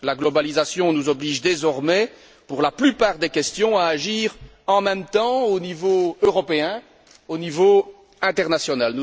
La globalisation nous oblige désormais, pour la plupart des questions, à agir en même temps au niveau européen et au niveau international.